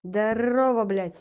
здравствуй блядь